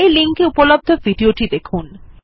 এই লিঙ্ক এ উপলব্ধ ভিডিও টি দেখুন